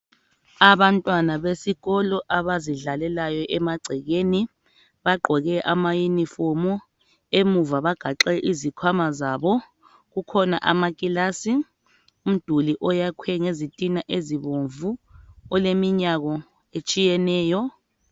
Abantwana besikolo abazidlalelayo emagcekeni bagqoke ama yunifomu emuva bagaxe izikhwama zabo. Kukhona amakilasi umduli oyakhwe ngezitina ezibomvu oleminyango etshiyeneyo.